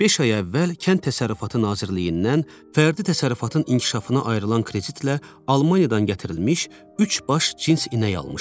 Beş ay əvvəl Kənd Təsərrüfatı Nazirliyindən fərdi təsərrüfatın inkişafına ayrılan kreditlə Almaniyadan gətirilmiş üç baş cins inək almışdı.